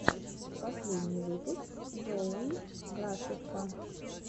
последний выпуск джоуи грасеффа